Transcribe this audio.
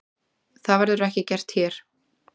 Það verður ekki gert hér.